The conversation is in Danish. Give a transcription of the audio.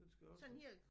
Den skal også